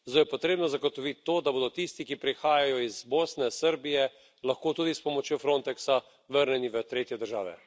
Zato je potrebno zagotoviti to, da bodo tisti, ki prihajajo iz Bosne, Srbije, lahko tudi s pomočjo Frontexa vrnjeni v tretje države.